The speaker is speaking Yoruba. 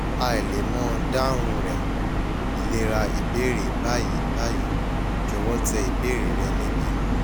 hi le mo dahun rẹ ilera ibeere bayi bayi jọwọ tẹ ibeere rẹ nibi